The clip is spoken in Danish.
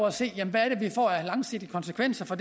at se hvad det her får af langsigtede konsekvenser